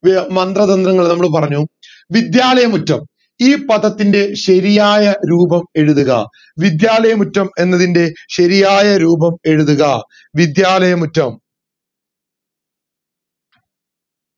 മന്ത്രതന്ത്രങ്ങൾ നമ്മൾ പറഞ്ഞു വിദ്യാലയമുറ്റം ഈ പദത്തിന്റെ ശരിയായ രൂപം എഴുതുക വിദ്യാലയമുറ്റം എന്നതിന്റെ ശരിയായ രൂപം എഴുതുക വിദ്യാലയമുറ്റം